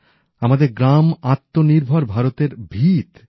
এদের ক্ষমতায়নই মাধ্যমেই আত্মনির্ভর ভারতের ভীত